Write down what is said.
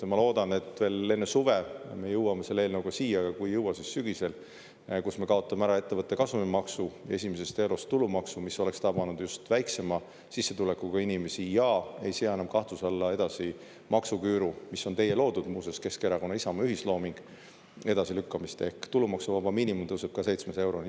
Ma loodan, et veel enne suve me jõuame selle eelnõuga siia – kui ei jõua, siis sügisel –, kus me kaotame ära ettevõtte kasumimaksu, esimesest eurost tulumaksu, mis oleks tabanud just väiksema sissetulekuga inimesi ja ei sea enam kahtluse alla edasi maksuküüru – mis on teie loodud, muuseas, Keskerakonna-Isamaa ühislooming – edasilükkamist, ehk tulumaksuvaba miinimum tõuseb ka 700 euroni.